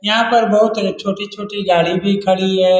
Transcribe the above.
यहाँ पर बहुत एक छोटी-छोटी गाडी भी खड़ी है।